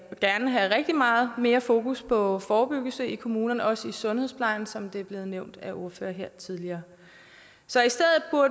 rigtig meget mere fokus på forebyggelse i kommunerne også i sundhedsplejen som det også er blevet nævnt af ordførere her tidligere så